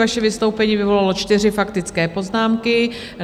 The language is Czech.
Vaše vystoupení vyvolalo čtyři faktické poznámky.